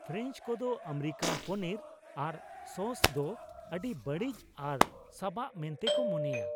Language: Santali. ᱯᱷᱨᱮᱧᱪ ᱠᱚᱫᱚ ᱟᱢᱮᱨᱤᱠᱟᱱ ᱯᱚᱱᱤᱨ ᱟᱨ ᱥᱚᱥ ᱫᱚ ᱟᱹᱰᱤ ᱵᱟᱹᱲᱤᱡ ᱟᱨ ᱥᱟᱵᱟᱜ ᱢᱮᱱᱛᱮ ᱠᱚ ᱢᱚᱱᱮᱭᱟ ᱾